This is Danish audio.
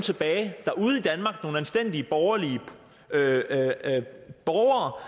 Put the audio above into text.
anstændige borgerlige borgere